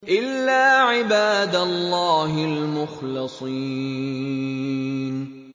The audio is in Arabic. إِلَّا عِبَادَ اللَّهِ الْمُخْلَصِينَ